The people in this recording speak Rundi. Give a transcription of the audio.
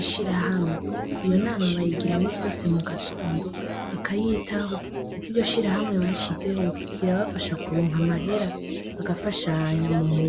ishirahamwe. Iyo nama bayigira imisi yose mugatondo bakayitaho kuko iyo shirahamwe bashizeho irabafasha kuronka amahera bagafashanya mumurwi.